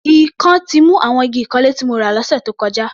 Ikán ti mu àwọn igi ìkanlé tí mo rà lọ́sẹ̀ tó kọjá.